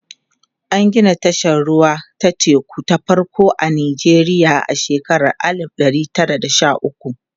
an Gina tashar ruwa ta teku ta farko a Nijeriya a shekara alif ɗari Tara da Sha ukwu